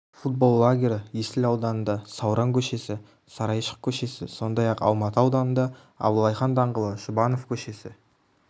футбол лагері есіл ауданында сауран к-сі сарайшық к-сі сондай-ақ алматы ауданында абылай хан даңғылы жұбанов к-сі